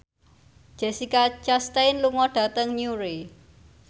Jessica Chastain lunga dhateng Newry